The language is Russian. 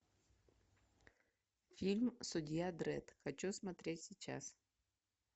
фильм судья дредд хочу смотреть сейчас